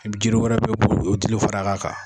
Jiri wɛrɛ bɛ yen o bulu o dili far'a kan.